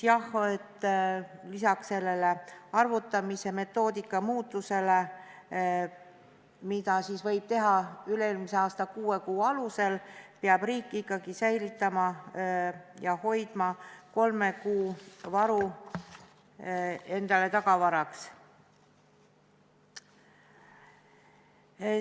Jah, lisaks sellele arvutamise metoodika muutusele, et seda võib teha üle-eelmise aasta kuue kuu alusel, peab riik ikkagi säilitama ja hoidma kolme kuu varu endale tagavaraks.